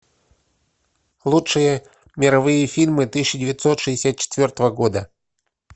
лучшие мировые фильмы тысяча девятьсот шестьдесят четвертого года